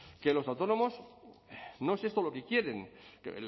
que los autónomos no es esto lo que quieren que